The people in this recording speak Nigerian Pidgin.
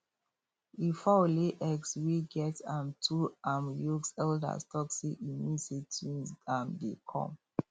if fowl lay eggs wey get um two um yolks elders talk say e mean say twins um dey come